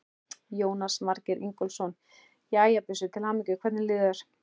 Jónas Margeir Ingólfsson: Jæja, Bjössi, til hamingju, hvernig líður þér?